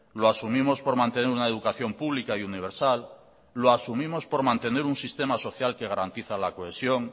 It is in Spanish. lo asumimos por mantener una educación pública y universal lo asumimos por mantener un sistema social que garantiza la cohesión